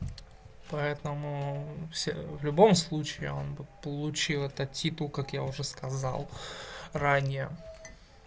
поэтому все в любом случае он бы получил этот титул как я уже сказал ранее